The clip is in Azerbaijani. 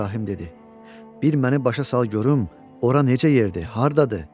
İbrahim dedi: "Bir məni başa sal görüm ora necə yerdir, hardadır?"